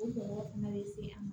O mɔgɔ fana bɛ se a ma